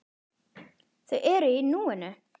Þau eru í núinu.